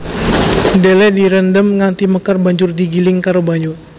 Dhelè direndhem nganti mekar banjur digiling karo banyu